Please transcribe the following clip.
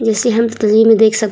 देख सक --